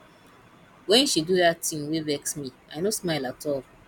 wen she do dat tin wey vex me i no smile at all